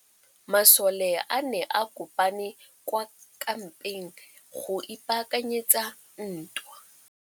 Masole a ne a kopane kwa kampeng go ipaakanyetsa ntwa.